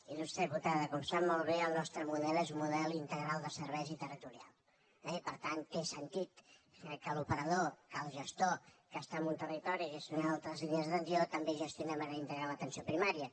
il·lustre diputada com sap molt bé el nostre model és un model integral de serveis i territorial eh i per tant té sentit que l’operador que el gestor que està en un territori gestionant altres línies d’atenció també gestionem ara integrar l’atenció primària